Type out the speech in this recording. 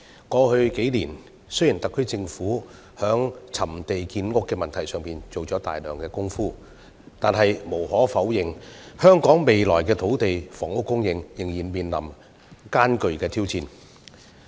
過去數年，雖然特區政府在覓地建屋問題上做了大量工夫，但無可否認，香港未來的土地及房屋供應仍然面臨艱巨挑戰。